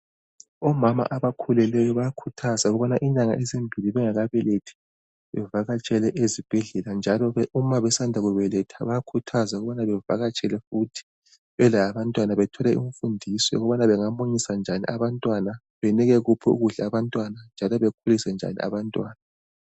Omama abakhulelweyo bayakhuthazwa ukuthi inyanga ezimbili bengakabelethi bevakatshele ezibhedlela njalo uma besanda kubetha bayakhuthazwa ukuthi bavakatshele futhi belabantwana bethole imfundiso yokuthi bamunyise njani abantwana njalo bakhulise njani abantwana.